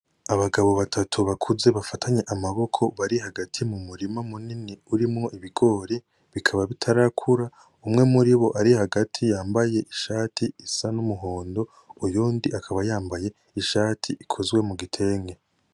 Abagabo batatu bakuze bafatanye amaboko bari hagati mu murima munini urimwo ibigori bikaba bitarakura umwe muribo ari hagati yambaye ishati isa N’umuhondo uyundi akaba yambaye ishati ikozwe mu gitenge.